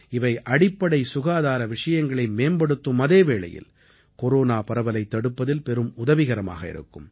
இவை அடிப்படை சுகாதார விஷயங்களை மேம்படுத்தும் அதே வேளையில் கொரோனா பரவலைத் தடுப்பதில் பெரும் உதவிகரமாக இருக்கும்